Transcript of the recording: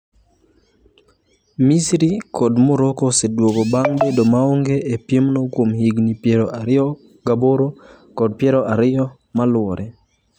Misri kod Morocco oseduogo bang' bedo maonge e piemno kuom higini 28 kod 20 maluwore.